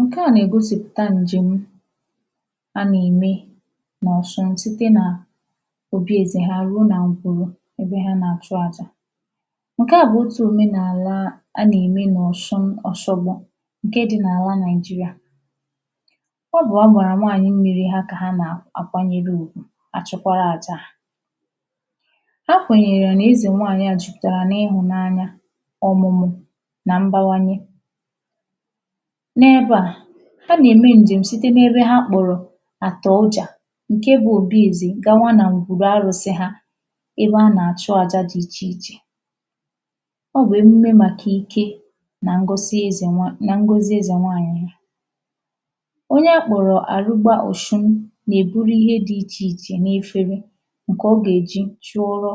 ṅ̀ke à na-ègosipụ̀ta ǹjèm a nà-ème n’ọ̀shụŋ site nà òbi èzè ha ruo nà ṅ̀gwùrù ebe ha nà-achụ àjà ṅ̀ke à bụ̀ otù òmenàla a nà-ème nà ọ̀shụn Oshogbo ṅ̀ke dị̄ n’àla Nàijīrịà ọ bụ̀ agbàrà nwaanyị mmīrī hā kà ha nà-àkwanyere ùgwʊ àchụkwara àja à a kwènyèrè nà ezènwaànyị a jupùtàrà n’ihụ̀nanya ọ̀mụ̀mụ̀ nà mbawanye n’ebe à ha nà-ème ǹjèm̀ site n’ebe ha kpọ̀rọ̀ àtọ̀ ọjà ṅ̀ke bụ̄ obi èzè gawa na ṅgwùrù arụ̄sị̄ hā ebe a nà-àchụ àja dị̄ ichè ichè ọ bụ̀ emume màkà ike nà ṅgọzi ezènwaànyị̀ nà ngosi ezè nwaànyị̀ ha onye a kpọ̀rọ̀ àrụgba ọ̀shụn nà-èburu ihe dị̄ ichè ichè n’efere ṅ̀kè ọ gà-èji chụọrọ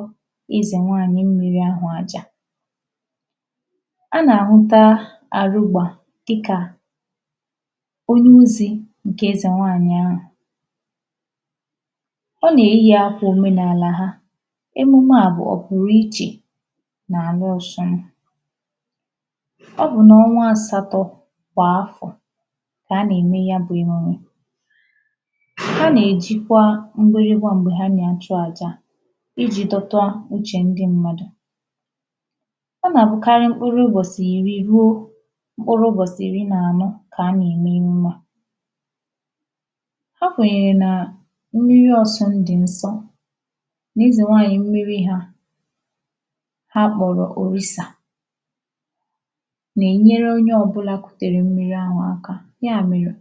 ezènwaànyị mmīrī ahụ̀ àjà a nà-àhụta àrụgbà dịkà onye ozī ṅ̀kè ezè nwaànyị ahụ̀ ọ nà eyì akwà omenàlà ha emume à bụ̀ ọpụrụichè n’àla ọshụn ọ bụ̀ n’ọnwa asatọ̄ kwà afọ̀ kà a na-ème ya bụ̄ ihe ọṅụ̀ ha nà-èjikwa mgbịrịmgba m̀gbè ha nà-achụ àja à ijī dọta uchè ndị mmadụ̀ ọ na-abụkarị mkpụrụ ụbọ̀sị̀ ìri ruo mkpụrụ ụbọ̀sị̀ iri nà anọ kà a nà-ème emume à ha kwènyèrè nà mmiri ọsụn dị̀ nsọ à ezè nwaànyị mmiri hā ha kpọ̀rọ̀ Òrisà nà-ènyere onye ọbụ̄là kutere mmiri ahụ̀ aka ya mèrè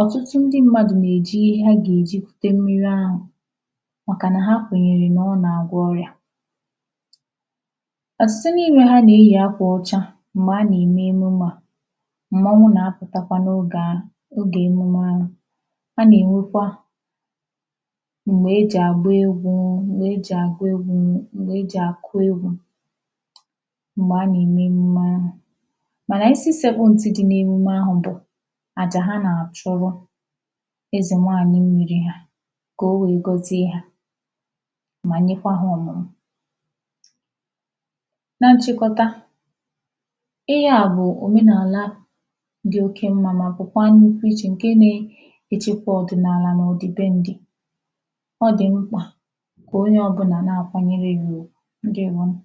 ọtụtụ ndị mmadụ̀ nà-èji ihe ha gà-èji kute mmiri ahụ̀ màkà nà ha kwènyèrè nà ọ nà-àgwọ ọrịà ọ̀tụtụ n’ime ha nà-eyì akwà ọcha m̀gbè a nà-ème emume à m̀mọnwụ nà-apụ̀takwa n’ogè ahụ ogè emume ahụ̀ a nà ènwekwa m̀gbè e ji àgba egwū m̀gbɛ e jì àgụ egwū m̀gbè e jì àkụ egwū m̀gbè a nà ème emume ahụ̀ mànà isi sēkpụ̄ ntị̀ dị n’emume ahụ̀ bụ̀ àjà ha nà-àchụrụ ezè nwaànyị mmīrī hā kà o wèe gọzie hā mà nyekwa hā ọ̀mụ̀mụ̀ na nchịkọta ihe à bụ̀ òmenàla dị oke mmā mà pụ̀kwaa nnukwu ichè ṅ̀ke na- echekwa ọ̀dị̀nàlà nà ọ̀dị̀ben̄dị̄ ọ dị̀ mkpà kà onye ọbụ̄nà na-àkwanyere ya ùgwù ǹdeèwonụ̀